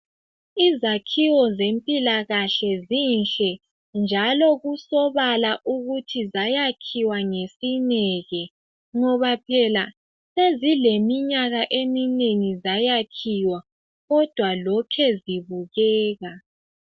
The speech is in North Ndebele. Izakhiwo zempilakahle zinhle njalo kusobala ukuthi zayakhiwa ngesineke ngoba phela sezileminyaka eminengi zayakhiwa kodwa lokhe zibukeka.